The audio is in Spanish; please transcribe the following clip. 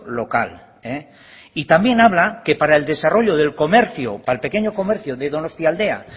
local y también habla que para el desarrollo del comercio para el pequeño comercio de donostialdea